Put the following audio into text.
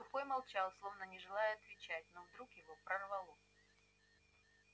сухой молчал словно не желая отвечать но вдруг его прорвало